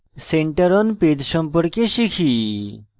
center on page সম্পর্কে শিখি